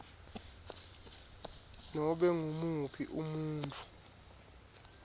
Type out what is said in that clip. nobe ngumuphi umuntfu